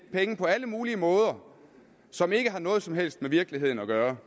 penge på alle mulige måder som ikke har noget som helst med virkeligheden at gøre